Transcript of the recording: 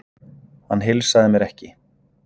Hann heilsaði mér ekki.